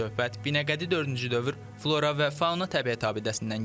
Söhbət Binəqədi dördüncü dövr flora və fauna təbiət abidəsindən gedir.